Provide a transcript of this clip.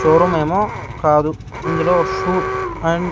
Showroom ఏమో కాదు ఇందులో ఒక సు అండ్ .